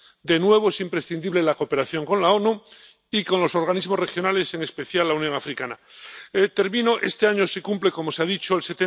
De nuevo, es imprescindible la cooperación con las Naciones Unidas y con los organismos regionales, en especial la Unión Africana. Termino. Este año se cumple ―como se ha dicho― el